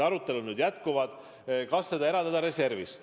Kas see raha eraldada reservist?